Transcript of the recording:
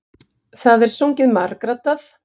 Það er sungið margraddað.